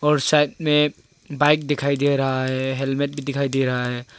और side bike दिखाई दे रहा है हेलमेट भी दिखाई दे रहा है।